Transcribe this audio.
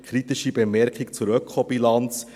Eine kritische Bemerkung zur Ökobilanz: